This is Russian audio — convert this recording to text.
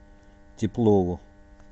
теплову